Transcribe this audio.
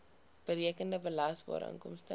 berekende belasbare inkomste